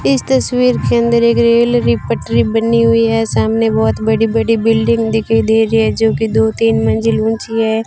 इस तस्वीर के अंदर एक रैलरी पटरी बनी हुई है सामने बहुत बड़ी बड़ी बिल्डिंग दिखाई दे रही है जोकि दो तीन मंजिल ऊंची है।